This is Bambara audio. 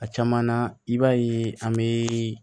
A caman na i b'a ye an bɛ